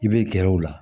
I bɛ gɛrɛ o la